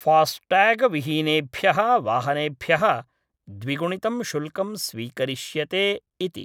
फास्टटैगविहीनेभ्यः वाहनेभ्यः द्विगुणितं शुल्कं स्वीकरिष्यते इति।